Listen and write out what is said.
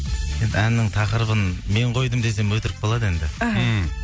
енді әннің тақырыбын мен қойдым десем өтірік болады енді іхі мхм